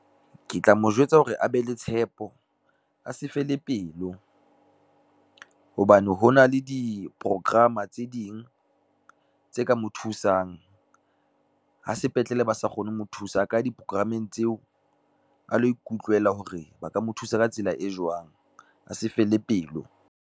Ke tla mo jwetsa hore a be le tshepo, a se fele pelo, hobane hona le diporokrama tse ding tse ka mo thusang. Ha sepetlele ba sa kgone ho mo thusa a ka ya diporokrameng tseo, a lo ikutlwela hore ba ka mo thusa ka tsela e jwang a se fele pelo.